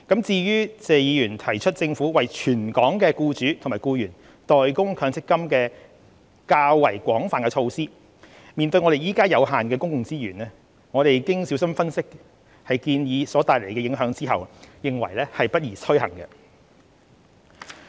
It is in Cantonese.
至於謝議員提出政府為全港僱主及僱員代供強積金的較廣泛措施，面對現時有限的公共資源，政府經小心分析建議所帶來的影響後，認為不宜推行。